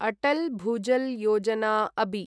अटल् भुजल् योजना अबि